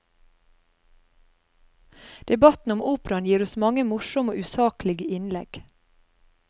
Debatten om operaen gir oss mange morsomme og usaklige innlegg.